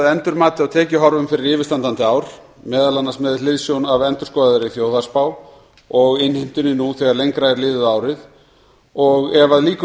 endurmati á tekjuhorfum fyrir yfirstandandi ár meðal annars með hliðsjón af endurskoðaðri þjóðhagsspá og innheimtunni nú þegar lengra er liðið á árið ef að líkum